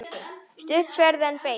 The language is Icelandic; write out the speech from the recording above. Stutt sverð, en beitt.